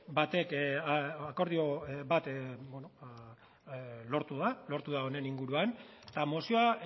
bat lortu da honen inguruan eta mozioa